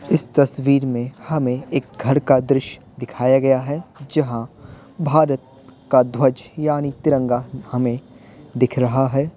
इस तस्वीर में हमें एक घर का दृश्य दिखाया गया है जहां भारत का ध्वज यानी तिरंगा हमें दिख रहा है।